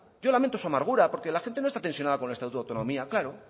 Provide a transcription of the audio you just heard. yo lamento su amargura porque la gente no está tensionada con el estatuto de autonomía claro